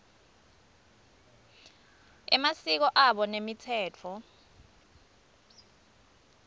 emasiko abo nemitsetfo